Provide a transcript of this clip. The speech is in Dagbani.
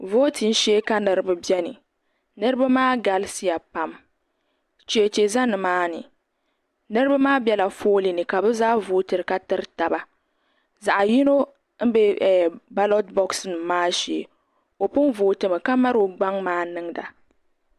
Vootibu shee ka niribi beni niribi maa galisiya pam. cheche za ni maani. niribi bela fooliini ka bɛ zaa vootiri katiritaba zaɣiyinɔ n be balɔt bɔx nim maa shee ɔ pun vootimi ka mali ɔ gbaŋ maa n niŋda